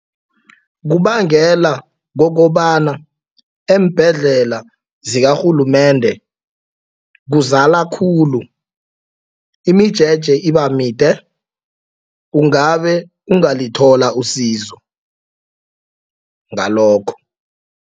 Kubangelwa kukobana eembhedlela zakarhulumende kuzala khulu. Imijeje iba mide ungabe ungalithola usizo ngalokho.